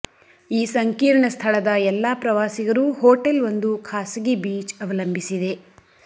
ಈ ಸಂಕೀರ್ಣ ಸ್ಥಳದ ಎಲ್ಲಾ ಪ್ರವಾಸಿಗರು ಹೋಟೆಲ್ ಒಂದು ಖಾಸಗಿ ಬೀಚ್ ಅವಲಂಬಿಸಿದೆ